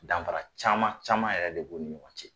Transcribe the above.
Danfara caman caman yɛrɛ de b'u ni ɲɔgɔn cɛ.